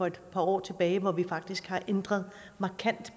et par år tilbage hvor vi faktisk ændrede markant